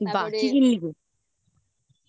বাহ্ কি কিনলি?